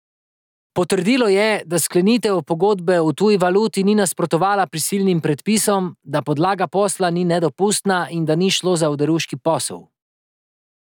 Potrdilo je, da sklenitev pogodbe v tuji valuti ni nasprotovala prisilnim predpisom, da podlaga posla ni nedopustna in da ni šlo za oderuški posel.